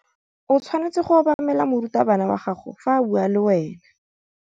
O tshwanetse go obamela morutabana wa gago fa a bua le wena.